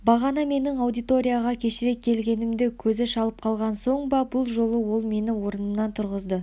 бағана менің аудиторияға кешірек келгенімді көзі шалып қалған соң ба бұл жолы ол мені орнымнан тұрғызды